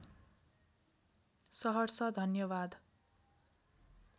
सहर्ष धन्यवाद